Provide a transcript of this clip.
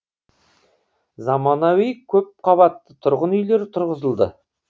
заманауи көпқабатты тұрғын үйлер тұрғызылды